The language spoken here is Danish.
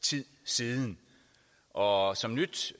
tid siden og som nyt